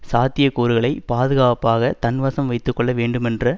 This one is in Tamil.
சாத்திய கூறுகளை பாதுகாப்பாக தன்வசம் வைத்து கொள்ள வேண்டுமென்ற